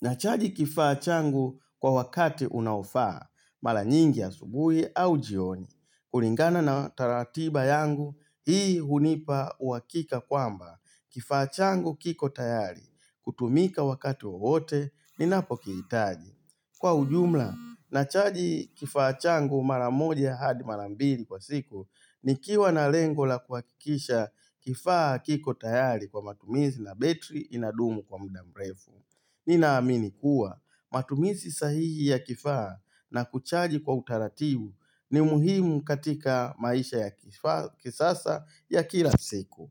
nachaji kifaa changu kwa wakati unaofaa, mara nyingi ya subuhi au jioni, kulingana na taratiba yangu, hii hunipa uhakika kwamba, kifaa changu kiko tayari, kutumika wakati wote, ninapo kihitaji. Kwa ujumla, nachaji kifaa chango maramoja hadi mara mbili kwa siku ni kiwa na lengo la kuakikisha kifaa kiko tayari kwa matumizi na betri inadumu kwa mda mrefu. Nina amini kuwa matumizi sahihi ya kifaa na kuchaji kwa utarabu ni muhimu katika maisha ya kisasa ya kila siku.